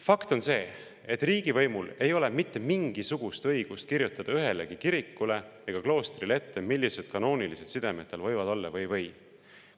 Fakt on see, et riigivõimul ei ole mitte mingisugust õigust kirjutada ühelegi kirikule ega kloostrile ette, millised kanoonilised sidemed tal võivad või ei või olla.